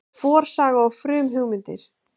Forsaga og frumhugmyndir.